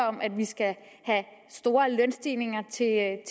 om at vi skal have store lønstigninger